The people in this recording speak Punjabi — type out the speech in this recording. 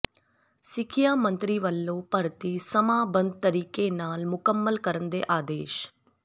ਸਿੱਖਿਆ ਮੰਤਰੀ ਵੱਲੋਂ ਭਰਤੀ ਸਮਾਂਬੱਧ ਤਰੀਕੇ ਨਾਲ ਮੁਕੰਮਲ ਕਰਨ ਦੇ ਆਦੇਸ਼